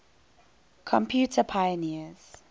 computer pioneers